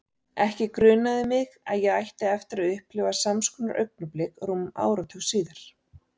Ekki grunaði mig að ég ætti eftir að upplifa sams konar augnablik rúmum áratug síðar.